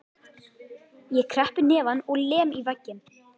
Ég kreppi hnefann og lem í vegginn.